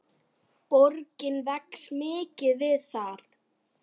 Borgin vex mikið við það.